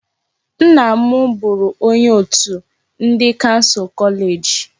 Nna m bụụrụ onye òtù ndị kansụl kọleeji.